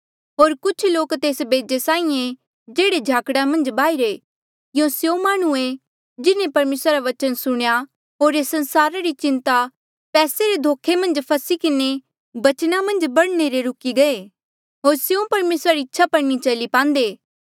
होर कुछ लोक तेस बेजे साहीं ऐें जेह्ड़े झाकड़ा मन्झ बाहिरे यूं स्यों माह्णुं ऐें जिन्हें परमेसरा रा बचन सुणेया होर एस संसारा री चिन्ता पैसे रे धोखा मन्झ फसी किन्हें बचना मन्झ बढ़ने ले रुकी गये होर स्यों परमेसरा री इच्छा पर नी चली पांदे